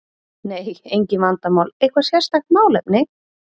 Nei, engin vandamál Eitthvað sérstakt málefni?